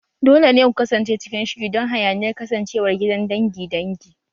Dole ne ku kasance cikin shiri don hayaniyar kasancewar gidan dangi dangi